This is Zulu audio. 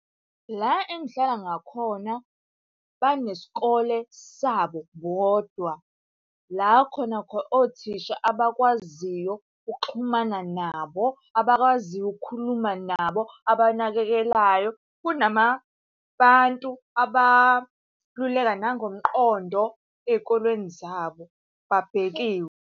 La engihlala ngakhona banesikole sabo bodwa. La khona khona othisha abakwaziyo ukuxhumana nabo, abakwaziyo ukukhuluma nabo, ababanakekelayo. Kunamabantu abaluleka nangomqondo ey'kolweni zabo, babhekiwe.